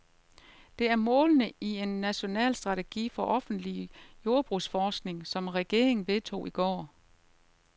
Det er målene i en national strategi for offentlig jordbrugsforskning, som regeringen vedtog i går.